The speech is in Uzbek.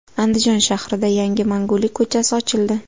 Andijon shahrida yangi Mangulik ko‘chasi ochildi.